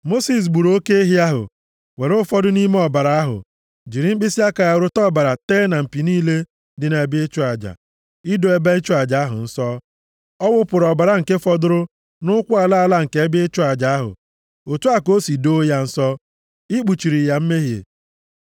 Mosis gburu oke ehi ahụ, were ụfọdụ nʼime ọbara ahụ, jiri mkpịsịaka ya rụta ọbara tee na mpi niile dị nʼebe ịchụ aja, ido ebe ịchụ aja ahụ nsọ. Ọ wụpụrụ ọbara nke fọdụrụ nʼụkwụ ala ala nke ebe ịchụ aja ahụ. Otu a ka o si doo ya nsọ, ikpuchiri ya mmehie.